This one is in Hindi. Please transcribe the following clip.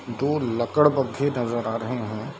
दो लकड़बग्घे नजर आ रहे हैं।